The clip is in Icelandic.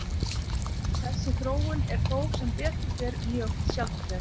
Þessi þróun er þó sem betur fer mjög sjaldgæf.